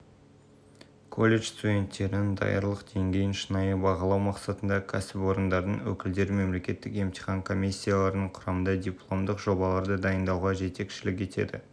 колледж студенттерінің даярлық деңгейін деңгейін шынайы бағалау мақсатында кәсіпорындардың өкілдері мемлекеттік емтихан комиссияларының құрамына дипломдық жобаларды дайындауға жетекшілік етеді